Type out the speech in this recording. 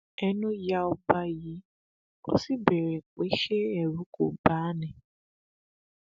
ẹnu ya ọba yìí ó sì béèrè pé ṣé ẹrù kó bà á ni